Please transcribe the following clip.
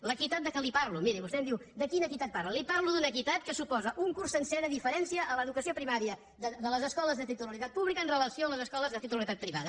l’equitat de què li parlo miri vostè em diu de quina equitat parla li parlo d’una equitat que suposa un curs sencer de diferència a l’educació primària de les escoles de titularitat pública amb relació a les escoles de titularitat privada